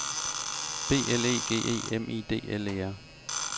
B L E G E M I D L E R